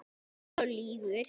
Lýgur og lýgur.